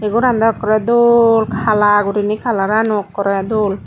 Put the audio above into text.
goran daw ekkore dol hala gurinei kalarano ekkore dol.